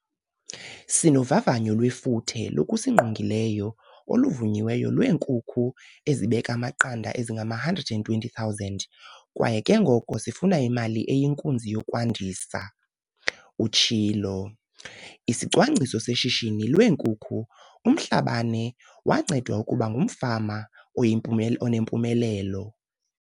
"Sinovavanyo lwefuthe lokusingqongileyo oluvunyiweyo lwee-nkukhu ezibeka amaqanda ezingama-120 000 kwaye ke ngoko sifuna imali eyinkunzi yokwandisa," utshilo. ISicwangciso Seshishini leeNkukhu UMhlabane wancedwa ukuba ngumfama onempumelelo.